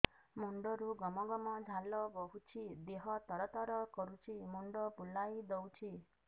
ମୁଣ୍ଡରୁ ଗମ ଗମ ଝାଳ ବହୁଛି ଦିହ ତର ତର କରୁଛି ମୁଣ୍ଡ ବୁଲାଇ ଦେଉଛି